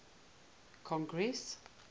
congress